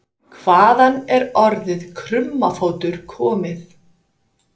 Hvaðan er orðið krummafótur komið?